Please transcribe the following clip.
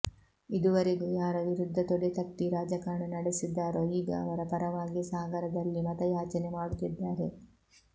ಇದುವರೆಗೂ ಯಾರ ವಿರುದ್ಧ ತೊಡೆ ತಟ್ಟಿ ರಾಜಕಾರಣ ನಡೆಸಿದ್ದಾರೋ ಈಗ ಅವರ ಪರವಾಗಿಯೇ ಸಾಗರದಲ್ಲಿ ಮತ ಯಾಚನೆ ಮಾಡುತ್ತಿದ್ದಾರೆ